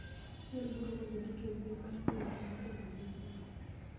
Jal moro ma jandiko e mbui mar pinje ma janon weche weche